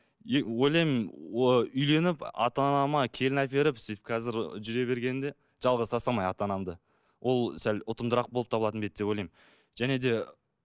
ойлаймын үйленіп ата анама келін әперіп сөйтіп қазір жүре бергенде жалғыз тастамай ата анамды ол сәл ұтымдырақ болып табылатын ба еді деп ойлаймын және де